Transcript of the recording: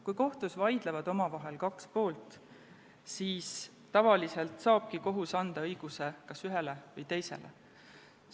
Kui kohtus vaidlevad kaks poolt, siis tavaliselt saabki kohus anda õiguse kas ühele või teisele.